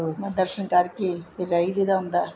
ਬੱਸ ਦਰਸ਼ਨ ਕਰਕੇ ਫ਼ੇਰ ਰਹਿ ਜੀਦਾ ਹੁੰਦਾ